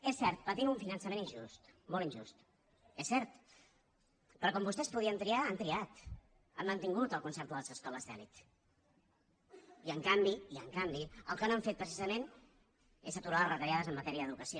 és cert patim un finançament injust molt injust és cert però quan vostès podien triar han triat han mantingut el concert de les escoles d’elit i en canvi el que no han fet precisament és aturar les retallades en matèria d’educació